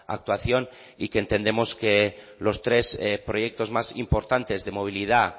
actuación y que entendemos que los tres proyectos más importantes de movilidad